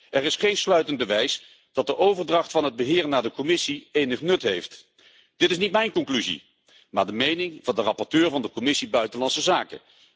Er is geen sluitend bewijs dat de overdracht van het beheer naar de Commissie enig nut heeft. Dit is niet mijn conclusie, maar de mening van de rapporteur van de Commissie buitenlandse zaken.